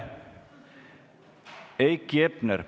Heiki Hepner.